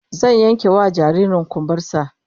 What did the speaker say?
Zan yankewa jaririn kumbar sa